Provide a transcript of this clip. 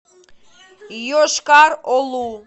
йошкар олу